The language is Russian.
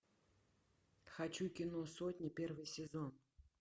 хочу кино сотня первый сезон